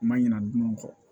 Ma ɲina dun kɔ